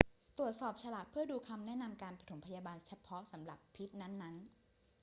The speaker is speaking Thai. ตรวจสอบฉลากเพื่อดูคำแนะนำการปฐมพยาบาลเฉพาะสำหรับพิษนั้น ๆ